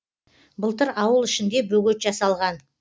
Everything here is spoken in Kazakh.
былтыр ауыл ішінде бөгет жасалған